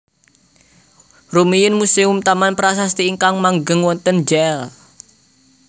Rumiyin Muséum Taman Prasasti ingkang manggèn wonten Jl